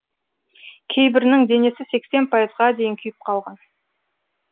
кейбірінің денесі сексен пайызға дейін күйіп қалған